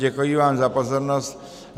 Děkuji vám za pozornost.